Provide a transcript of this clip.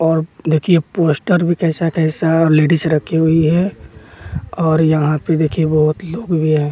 और देखिए पोस्टर भी कैसा कैसा लेडीज रखी हुई है और यहाँ पे देखिए बहुत लोग भी हैं।